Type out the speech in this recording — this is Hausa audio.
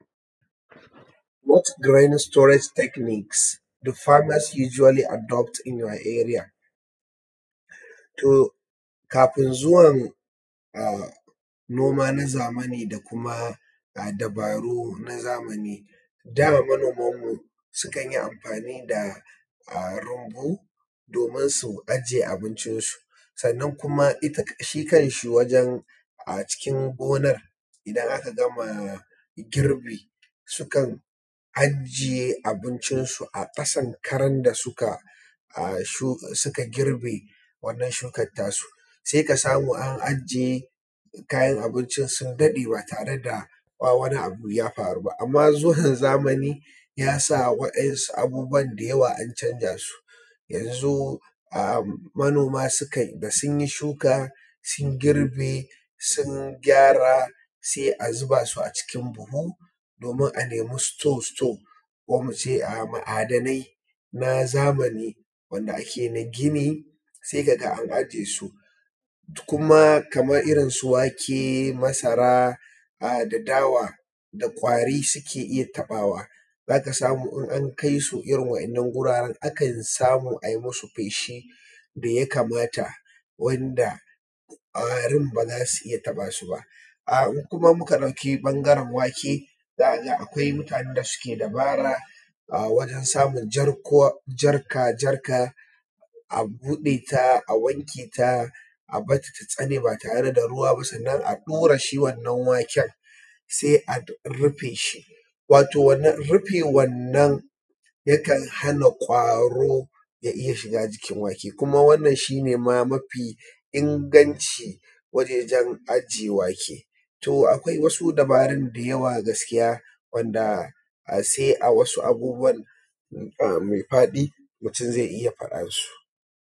What is the righteous storage techniques the partners usually adopt in ur area? To kafin zuwan noma na zamani kuma da dubaru na zamani, da manomanmu sukan yi amfani da rumbu domin su aje abincin su, sannan kuma shi kanshi wajen cikin gonar idan aka gama girbi sukan aje abincin su a ƙasan karan da suka girbe wannan shukar ta su, sai ka samu an aje kayan abincin sun daɗe ba tare da an, ba tare da wani abu ya faru ba. Amma zuwan zamani ya sa wa’yansu abubuwa da yawa an canza su, yanzu manoma da sun yi shuka girbe, sun gyara, sai a zuba su a cikin buhu domin a nemi store store ko muce ma'adanai na zamani wanda ake na gini, sai ka ga an aje su. Kuma kamar irin su wake, masara, da dawa, da ƙwari suke iya taɓawa, za ka samu in an kai su irin wa'innan guraren akan samu a yi masu feshi da ya kamata ƙwarin ba za su iya taɓa su ba. Idan muka ɗauki ɓangaren wake, akwai mutanen da suke dabara wajan samun jarka jarka a buɗe, a wanke ta a barata ta tsane ba tare da ruwa ba sannan a ɗure shi wannan waken, sannan a rufe shi, rufe wannan yakan hana ƙwaro ya iya shiga jikin wake, kuma wannan shi ne ma mafi inganci wajan aje wake. Akwai wasu dabarun da yawa gaskiya wanda sai a wasu abubuwan me faɗi mutun zai iya faɗa su.